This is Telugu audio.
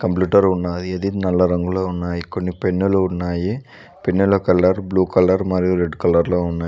బ్లిటర్ ఉన్నాది అది నల్ల రంగులో ఉన్నాయి కొన్ని పెన్నులు ఉన్నాయి పెన్నుల కలర్ బ్లూ కలర్ మరియు రెడ్ కలర్ లో ఉన్నాయ్.